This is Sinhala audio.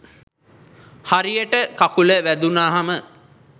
හරියට කකුල වැදුනහම